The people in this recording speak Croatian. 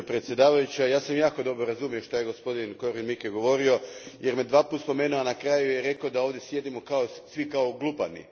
Gospođo predsjedavajuća, ja sam jako dobro razumio što je godpodin Korwin Mikke govorio, jer me dva puta spomenuo, a na kraju je rekao da ovdje sjedimo svi kao glupani.